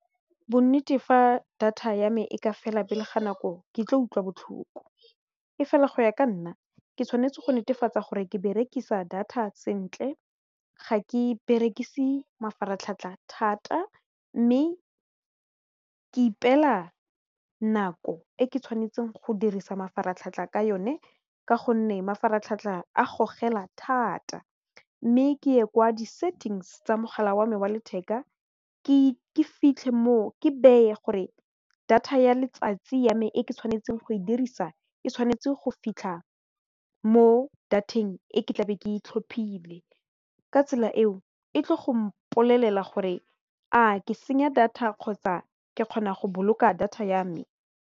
Bonnete fa data ya me e ka fela pele ga nako ke tle utlwa botlhoko e fela go ya ka nna ke tshwanetse go netefatsa gore ke berekisa data sentle ga ke berekise mafaratlhatlha thata mme ke ipela nako e ke tshwanetseng go dirisa mafaratlhatlha ka yone ka gonne mafaratlhatlha a gogela thata mme ke ye kwa di settings tsa mogala wa me wa letheka ke fitlhe mo ke beye gore data ya letsatsi ya me e ke tshwanetseng go e dirisa e tshwanetse go fitlha mo data-eng e ke tlabe ke itlhophileng ka tsela eo e tle go mpolelela gore a ke senya data kgotsa ke kgona go boloka data ya me.